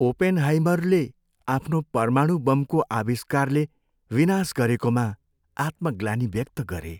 ओपेनहाइमरले आफ्नो परमाणु बमको आविष्कारले विनाश गरेकोमा आत्मग्लानी व्यक्त गरे।